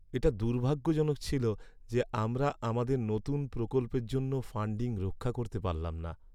এটা দুর্ভাগ্যজনক ছিল যে আমরা আমাদের নতুন প্রকল্পের জন্য ফাণ্ডিং রক্ষা করতে পারলাম না।